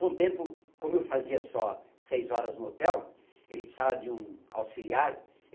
Com o tempo, como eu fazia só seis horas no hotel, ele precisava de um auxiliar.